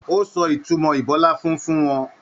O sọ ìtumọ ibọláfún fún wọn.